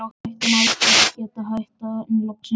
Við ætluðum aldrei að geta hætt, en loksins, þegar